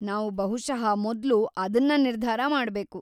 ನಾವು ಬಹುಶಃ ಮೊದ್ಲು ಅದನ್ನ ನಿರ್ಧಾರ ಮಾಡ್ಬೇಕು.